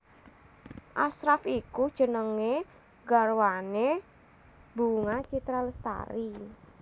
Ashraff iku jenenge garwane Bunga Citra Lestari